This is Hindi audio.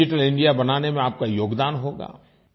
डिजिटल इंडिया बनाने में आपका योगदान होगा